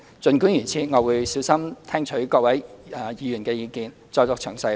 儘管如此，我會小心聽取各位議員的意見，再作詳細回應。